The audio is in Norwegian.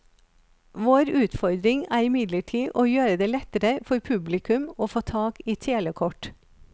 Vår utfordring er imidlertid å gjøre det lettere for publikum å få tak i telekort.